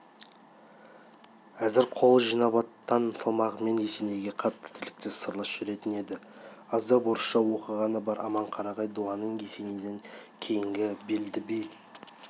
әзір қол жинап аттан салмағанымен есенейге қатты тілектес сырлас жүретін еді аздап орысша оқығаны да бар аманқарағай дуанының есенейден кейінгі белді биі